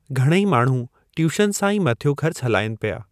घणेई माण्हू ट्यूशन सां ई मथियों खर्चु हलाईनि पिया।